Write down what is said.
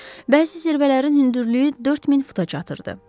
Bəzi zirvələrin hündürlüyü 4000 futa çatırdı.